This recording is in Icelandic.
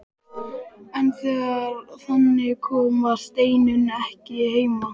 En þegar þangað kom var Steinunn ekki heima.